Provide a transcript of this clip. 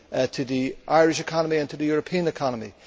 to the Irish economy and to the European economy.